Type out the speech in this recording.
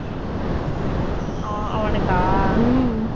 அஹ் அவனுக்கா?